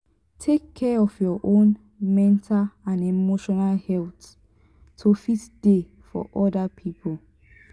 take care of your own mental and emotional health to fit dey for other pipo